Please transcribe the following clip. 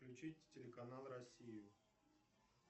включить телеканал россию